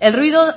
el ruido